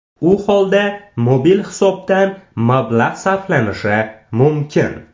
U holda mobil hisobdan mablag‘ sarflanishi mumkin.